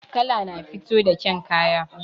Kala na fito da ƙyan kaya